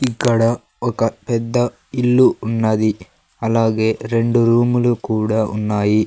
ఇక్కడ ఒక పెద్ద ఇల్లు ఉన్నది అలాగే రెండు రూములు కూడా ఉన్నాయి.